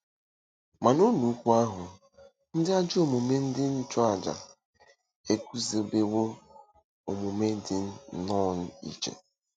Ma n'ụlọikwuu ahụ, ndị ajọ omume ndị nchụàjà eguzobewo omume dị nnọọ iche.